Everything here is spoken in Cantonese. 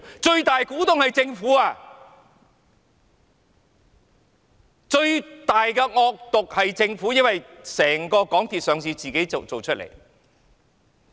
最大股東是政府，最惡毒的是政府，因為港鐵公司上市是政府一手造成的。